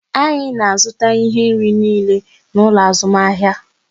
Anyị na azụta ihe nri niile n'ụlọ azụmahịa